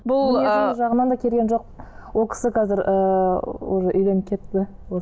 келген жоқ ол кісі қазір ыыы уже үйленіп кетті